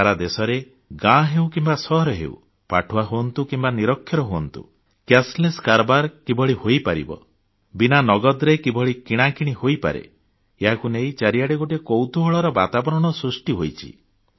ସାରା ଦେଶରେ ଗାଁ ହେଉ କିମ୍ବା ସହର ହେଉ ପାଠୁଆ ହୁଅନ୍ତୁ କିମ୍ବା ନିରକ୍ଷର ହୁଅନ୍ତୁ ନଗଦମୁକ୍ତ କାରବାର କିଭଳି ହୋଇପାରିବ ବିନା ନଗଦରେ କିଭଳି କିଣାକିଣି ହୋଇପାରେ ଏହାକୁ ନେଇ ଚାରିଆଡ଼େ ଗୋଟିଏ କୌତୁହଳର ବାତାବରଣ ସୃଷ୍ଟି ହୋଇଛି